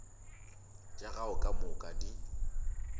tša gago ka moka di